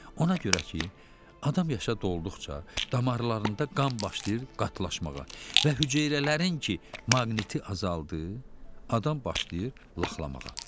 Ona görə ki, adam yaşa dolduqca damarlarında qan başlayır qatlaşmağa və hüceyrələrin ki, maqni azaldı, adam başlayır laxalamağa.